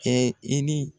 Kɛ i ni